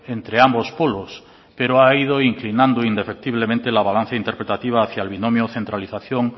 entre ambos polos pero ha ido inclinando indefectiblemente la balanza interpretativa hacia el binomio centralización